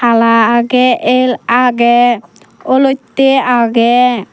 hala agey ell agey olottey agey.